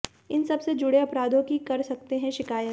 इन सब से जुड़े अपराधों की कर सकते हैं शिकायत